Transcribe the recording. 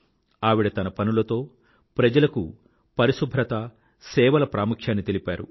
ఆవిడ తన పనులతో ప్రజలకు పరిశుభ్రత సేవల ప్రాముహ్యాన్ని తెలిపింది